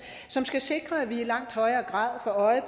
som skal sikre at vi i langt højere grad får øje